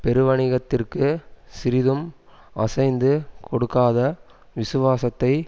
பெருவணிகத்திற்கு சிறிதும் அசைந்து கொடுக்காத விசுவாசத்தை